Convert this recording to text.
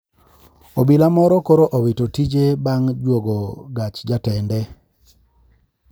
Obila moro koro owito tije bang` juogo gach jatende